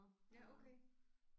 Ja okay